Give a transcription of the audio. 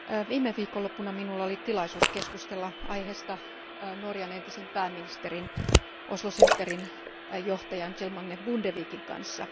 Viime viikonloppuna minulla oli tilaisuus keskustella aiheesta Norjan entisen pääministerin, Oslo Centerin johtajan Kjell Magne Bondevikin kanssa.